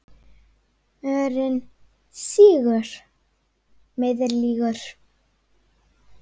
Mörinn sýgur, meiðir, lýgur.